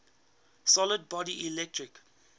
solid body electric